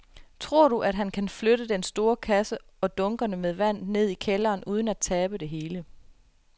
Tror du, at han kan flytte den store kasse og dunkene med vand ned i kælderen uden at tabe det hele?